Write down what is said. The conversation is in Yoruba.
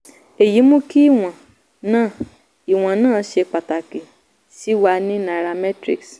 "èyí mú kí ìwọ̀n náà ìwọ̀n náà ṣe pàtàkì sí wa ní nairametrics.